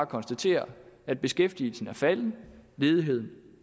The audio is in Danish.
konstatere at beskæftigelsen er faldende og ledigheden